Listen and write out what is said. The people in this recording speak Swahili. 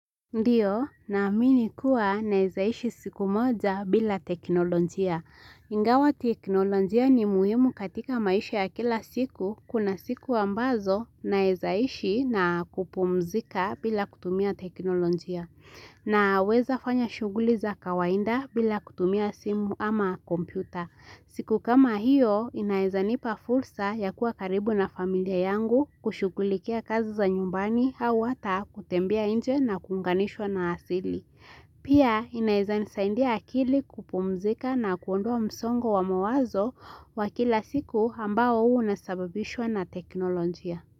Ndiyo, naamini kuwa naeza ishi siku moja bila teknolojia. Ingawa teknolojia ni muhimu katika maisha ya kila siku, kuna siku ambazo naeza ishi na kupumzika bila kutumia teknolojia. Naweza fanya shughuli za kawainda bila kutumia simu ama kompyuta. Siku kama hiyo, inaeza nipa fursa ya kuwa karibu na familia yangu kushughulikia kazi za nyumbani au hata kutembea nje na kuunganishwa na asili. Pia, inaeza nisaidia akili kupumzika na kuondoa msongo wa mawazo wa kila siku ambao unasababishwa na teknolojia.